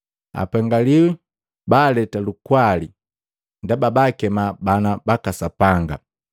Apengiwi baaleta lukwali, ndaba baakema bana baka Sapanga.